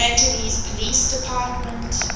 angeles police department